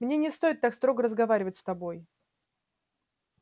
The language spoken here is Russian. мне не стоит так строго разговаривать с тобой